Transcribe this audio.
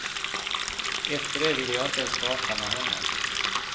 Efter det ville jag inte ens prata med honom.